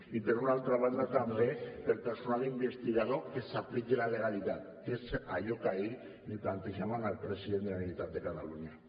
i per una altra banda també per al personal investigador que s’apliqui la legalitat que és allò que ahir li plantejàvem al president de la generalitat de catalunya